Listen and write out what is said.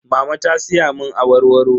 Mama ta siya mun awarwaro.